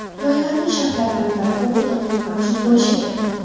Loyihaning shartlaridan biri – bu quduqning mavjud bo‘lishidir.